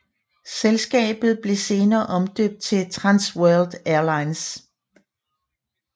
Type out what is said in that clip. Selskabet blev senere omdøbt til Trans World Airlines